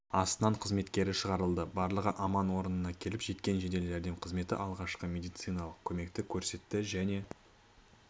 астынан қызметкері шығарылды барлығы аман орнына келіп жеткен жедел-жәрдем қызметі алғашқы медициналық көмекті көрсетті және